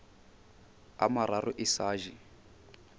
a mararo e sa je